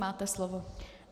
Máte slovo.